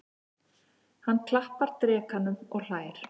Hann klappar drekanum og hlær.